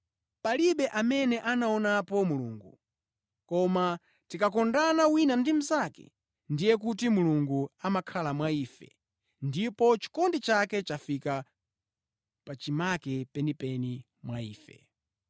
Palibe amene anaonapo Mulungu, koma tikakondana wina ndi mnzake, ndiye kuti Mulungu amakhala mwa ife ndipo chikondi chake chafika pachimake penipeni mwa ife.